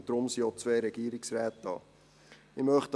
Deshalb sind auch zwei Regierungsräte anwesend.